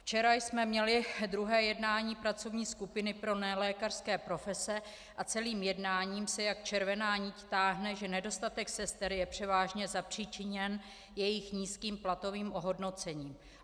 Včera jsme měli druhé jednání pracovní skupiny pro nelékařské profese a celým jednáním se jako červená nit táhne, že nedostatek sester je převážně zapříčiněn jejich nízkým platovým ohodnocením.